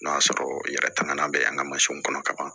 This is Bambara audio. N'o y'a sɔrɔ i yɛrɛ tɛmɛna bɛ an ka mansinw kɔnɔ ka ban